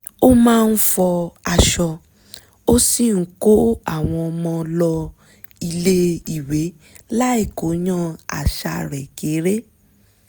ó máa ń fọ aṣọ ó sì ń kó àwọn ọmọ lọ ilé ìwé láì kóyán àṣà rẹ̀ kéré